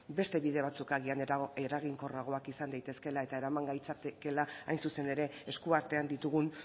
beste bide batzuk agian eraginkorragoak izan daitezkeela eta eraman gaitzakeela hain zuzen ere eskuartean ditugun